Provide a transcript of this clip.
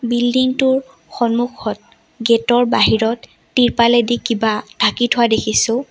Building টোৰ সন্মুখত gate ৰ বাহিৰত ত্ৰিপালেদি কিবা ঢাকি থোৱা দেখিছোঁ।